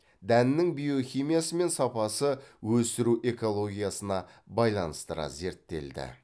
дәннің биохимиясы мен сапасы өсіру экологиясына байланыстыра зерттелді